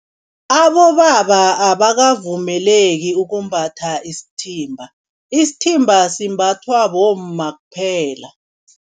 Abobaba abakavumeleki ukumbatha isithimba. Isithimba simbathwa bomma kuphela.